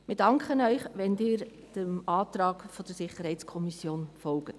Wir danken Ihnen, wenn Sie den Anträgen der SiK folgen.